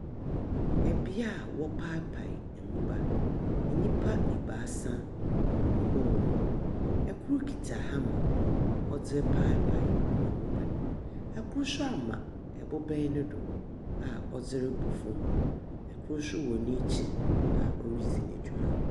Bea wɔpaapaa mbobaa nyimpa ebiasa wɔ hɔnom, kor kitsa hammer a ɔdze repaapaa mbobaa no, kor so ama bobaa do a cdze robɔ famu, kor so wɔ n’ekyir a oridzi no dwuma.